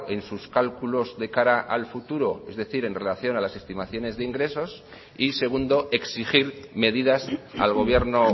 en sus cálculos de cara al futuro es decir en relación a las estimaciones de ingresos y segundo exigir medidas al gobierno